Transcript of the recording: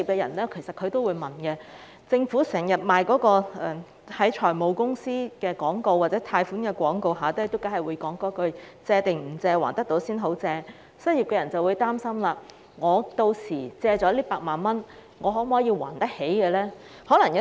由於政府經常在財務公司或貸款廣告的結尾加插一句"借定唔借，還得到先好借"，一些失業人士可能會擔心，借到8萬元後是否有能力償還。